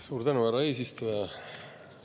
Suur tänu, härra eesistuja!